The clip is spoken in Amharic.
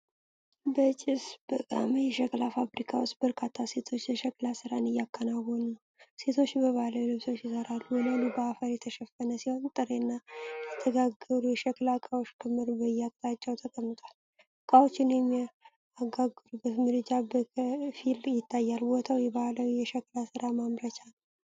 በጭስ በጋመ የሸክላ ፋብሪካ ውስጥ በርካታ ሴቶች የሸክላ ሥራን እያከናወኑ ነው። ሴቶቹ በባህላዊ ልብሶች ይሰራሉ። ወለሉ በአፈር የተሸፈነ ሲሆን፣ ጥሬና የተጋገሩ የሸክላ ዕቃዎች ክምር በየአቅጣጫው ተቀምጧል። ዕቃዎቹን የሚጋገሩበት ምድጃ በከፊል ይታያል። ቦታው የባህላዊ የሸክላ ስራ ማምረቻ ነው።